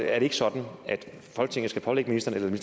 er det ikke sådan at folketinget skal pålægge ministeren